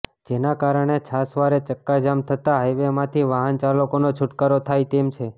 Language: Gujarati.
જેના કારણે છાસવારે ચક્કાજામ થતા હાઇવેમાંથી વાહન ચાલકોનો છુટકારો થાય તેમ છે